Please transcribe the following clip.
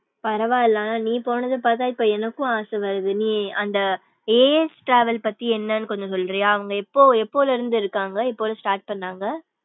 பரவா இல்ல ஆனா நீ போனது பாத்தா இப்போ எனக்கும் ஆசை வருது நீ அந்த as travel பத்தி என்னனு கொஞ்சம் சொல்ற்றியா அவுங்க எப்போ எபோதுல இருந்து இருக்காங்க எப்போ start பண்ணாங்க.